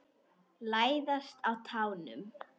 Læðast á tánum.